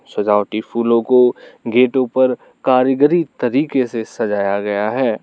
सजावटी फूलों को गेटों पर कारीगरी तरीके से सजाया गया है।